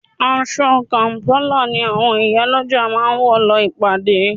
Aṣọ kàm̀pálà ni àwọn ìyálọ́jà máa wọ̀ lọ ìpàdé